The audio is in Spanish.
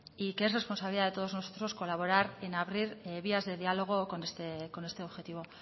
y que es responsabilidad de todos nosotros colaborar en abrir vías de diálogo con este objetivo